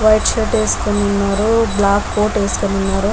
White shirt వేసుకొని ఉన్నారు.బ్లాక్ coat ఏసుకొని ఉన్నారు.